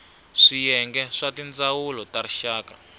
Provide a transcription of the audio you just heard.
swiyenge swa tindzawulo ta rixaka